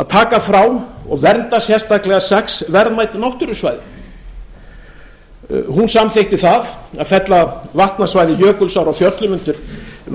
að taka sérstaklega frá og vernda sex verðmæt náttúrusvæði hún samþykkti að fella vatnasvæði jökulsár á fjöllum undir